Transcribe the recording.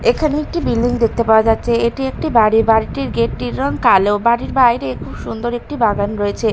এখানে একটি বিল্ডিং দেখতে পাওয়া যাচ্ছে এটি একটি বাড়ি বাড়িটির গেট -টির রং কালো বাড়ির বাইরে খুব সুন্দর একটি বাগান রয়েছে।